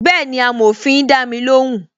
Bẹẹni, amòfin dami lóhùn